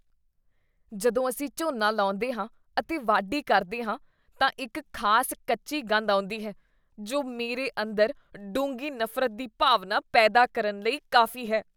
ਜਦੋਂ ਅਸੀਂ ਝੋਨਾ ਲਾਉਂਦੇ ਹਾਂ ਅਤੇ ਵਾਢੀ ਕਰਦੇ ਹਾਂ ਤਾਂ ਇੱਕ ਖ਼ਾਸ ਕੱਚੀ ਗੰਧ ਆਉਂਦੀ ਹੈ, ਜੋ ਮੇਰੇ ਅੰਦਰ ਡੂੰਘੀ ਨਫ਼ਰਤ ਦੀ ਭਾਵਨਾ ਪੈਦਾ ਕਰਨ ਲਈ ਕਾਫੀ ਹੈ।